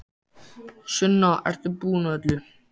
Sunna, ert þú búin að öllu?